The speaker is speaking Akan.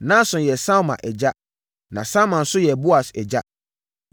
Nahson yɛ Salma agya. Na Salma nso yɛ Boas agya.